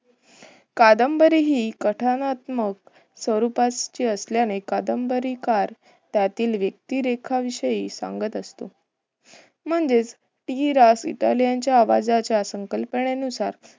कादंबरी हि कथनात्मक स्वरूपाची असल्याने कादंबरीकार त्यातील व्यक्तीरेखा विषयी सांगत असतो. म्हणजेच हि रास इटालियन आवाजाच्या संकल्पाने नुसार